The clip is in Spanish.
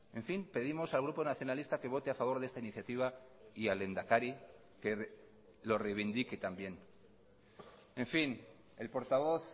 en fin pedimos al grupo nacionalista que vote a favor de esta iniciativa y al lehendakari que lo reivindique también en fin el portavoz